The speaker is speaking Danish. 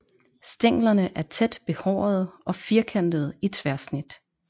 Stænglerne er tæt behårede og firkantede i tværsnit